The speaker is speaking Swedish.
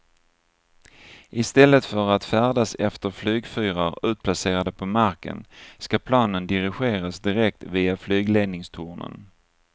I stället för att färdas efter flygfyrar utplacerade på marken ska planen dirigeras direkt via flygledningstornen.